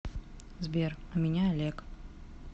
сбер а меня олег